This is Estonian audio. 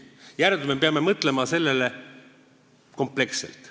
Järelikult me peame mõtlema sellele kompleksselt.